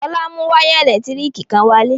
Fọlá mú wayà ẹ̀lẹ́tíríkì kan wálé.